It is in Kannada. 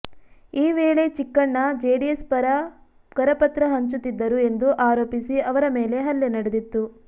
ಈ ವೇಳೆ ಚಿಕ್ಕಣ್ಣ ಜೆಡಿಎಸ್ ಪರ ಕರಪತ್ರ ಹಂಚುತ್ತಿದ್ದರು ಎಂದು ಆರೋಪಿಸಿ ಅವರ ಮೇಲೆ ಹಲ್ಲೆ ನಡೆದಿತ್ತು